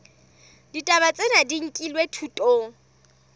ditaba tsena di nkilwe thutong